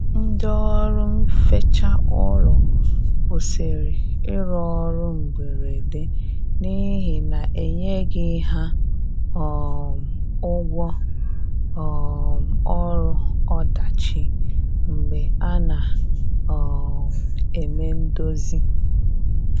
Ndi ọrụ nfecha ụlọ kwusịrị irụ ọrụ mgberede n'ihi na enyeghi ha um ụgwọ um ọrụ ọdachi mgbe a na um eme ndozi